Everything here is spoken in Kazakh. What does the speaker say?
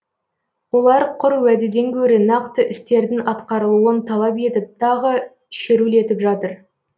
олар құр уәдеден гөрі нақты істердің атқарылуын талап етіп тағы шерулетіп жатыр